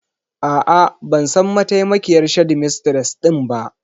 A'a, ban san mataimakiyar shedimistres ɗin ba.